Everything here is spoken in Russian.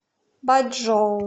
бачжоу